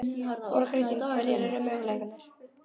Þóra Kristín: Hverjir eru möguleikarnir?